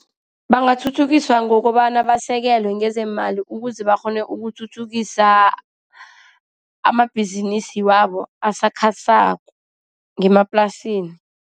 Bangathuthukiswa ngokobana basekelwe ngezeemali ukuze bakghone ukuthuthukisa amabhizinisi wabo asakhasako ngemaplasini.